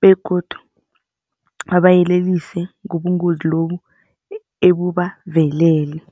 begodu babayelelise ngobungozi lobu ebubaveleleko.